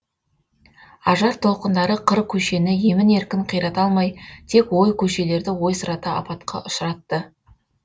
ажар толқындары қыр көшені емін еркін қирата алмай тек ой көшелерді ойсырата апатқа ұшыратты